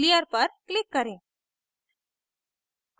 clear पर click करें